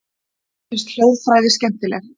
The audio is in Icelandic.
Mér finnst hljóðfræði skemmtileg.